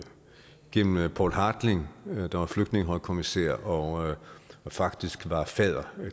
gennem poul hartling der var flygtningehøjkommissær og faktisk var fadder